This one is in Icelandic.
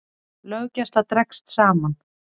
Löggæsla dregst saman